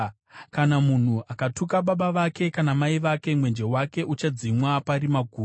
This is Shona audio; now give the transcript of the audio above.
Kana munhu akatuka baba vake kana mai vake, mwenje wake uchadzimwa parima guru.